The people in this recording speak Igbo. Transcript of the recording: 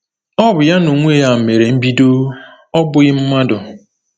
O bu ya n’onwe ya mere mbido, ọ bụghị mmadụ.